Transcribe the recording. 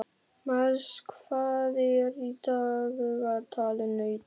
Mars, hvað er í dagatalinu í dag?